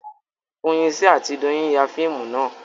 Foyinsi àti Doyin ya fíìmù náà